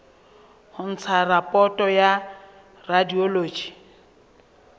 ho ntsha raporoto ya radiology